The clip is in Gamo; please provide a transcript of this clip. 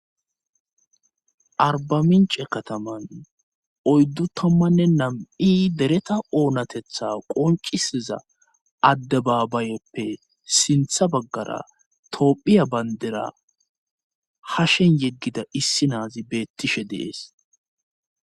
arbamince kataman oyddu tommanne nam7i dereta oonatetha qoncisiza addebaabayoppe sintha baggara toophiya bayndera ha shen yeggida issi naazi beettishe dees